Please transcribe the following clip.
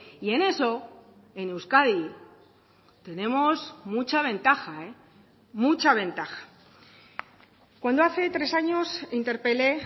y en eso en euskadi tenemos mucha ventaja mucha ventaja cuando hace tres años interpelé